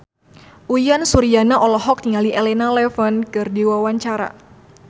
Uyan Suryana olohok ningali Elena Levon keur diwawancara